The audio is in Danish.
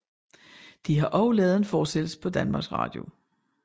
De har også lavet en fortsættelse på Dr